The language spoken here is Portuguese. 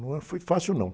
Não foi fácil, não.